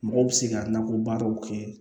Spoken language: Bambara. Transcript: Mɔgɔw bɛ se ka nakɔ baaraw kɛ